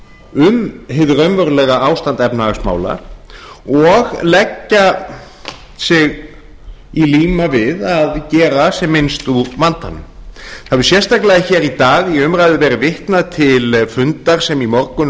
um hið raunverulega ástand efnahagsmála og leggja sig í líma við að gera sem minnst úr vandanum það hefur sérstaklega hér í dag í umræðu verið vitnað til fundar sem í morgun